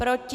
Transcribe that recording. Proti?